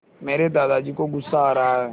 मेरे दादाजी को गुस्सा आ रहा है